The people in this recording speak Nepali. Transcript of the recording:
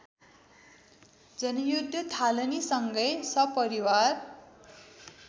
जनयुद्ध थालनीसँगै सपरिवार